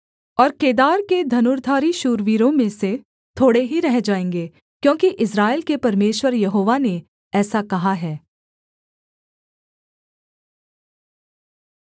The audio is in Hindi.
और केदार के धनुर्धारी शूरवीरों में से थोड़े ही रह जाएँगे क्योंकि इस्राएल के परमेश्वर यहोवा ने ऐसा कहा है